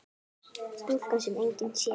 Stúlkan sem enginn sér.